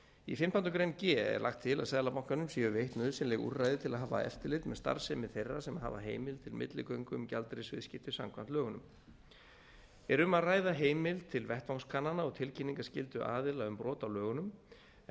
í fimmtándu grein g er lagt til að seðlabankanum séu veitt nauðsynleg úrræði til að hafa eftirlit með starfsemi þeirra sem hafa heimild til milligöngu um gjaldeyrisviðskipti samkvæmt lögunum er um að ræða heimild til vettvangskannana og tilkynningarskyldu aðila um brot á lögunum en